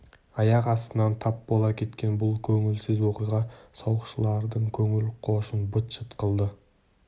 аяқ астынан тап бола кеткен бұл көңілсіз оқиға сауықшылардың көңіл-қошын быт-шыт қылды